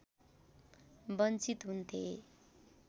वञ्चित हुन्थे